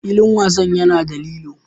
Filin wasan yana da lilo.